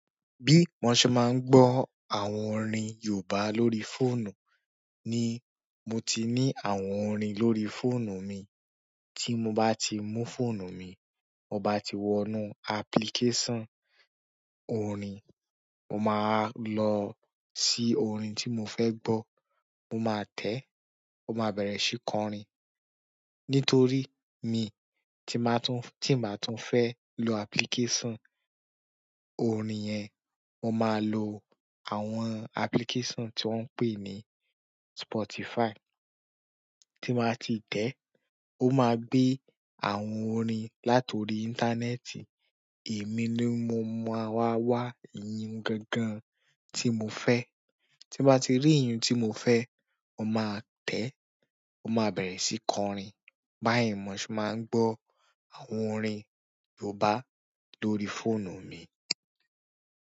Bí mo ṣe máa ń gbọ́ àwọn orin Yorùbá lórí fóònù ni mo ti ní àwọn orin lórí fóònù mi. Tí mo bá ti mú fóònù mi, mo bá ti wọnú application orin, mo máa wá lọ sí orin tí mo fẹ́ gbọ́. Mo máa tẹ̀, ó máa bẹ̀rẹ̀ síí kọrin. Nítorí mi tí màá tún, tí ń bàá tún fẹ́ lò application orin yẹn, mo máa lò àwọn application tí wọ́n ń pè ní Spotify. Tí ń báwa ti tẹ̀, o máa gbé àwọn orin látorí íńtánẹtì. Èmi ni mo máa wá, wá iyiùn gangan tí mo fẹ́. Tí mo bá wà ti rí iyiùn tí mo fẹ́, mo máa tẹ̀, ó máa bẹ̀rẹ̀ síí kọrin. Bayi mo ṣe máa ń gbọ́ àwọn orin yorùbá lórí fónù mi.